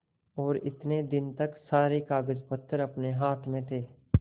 और इतने दिन तक सारे कागजपत्र अपने हाथ में थे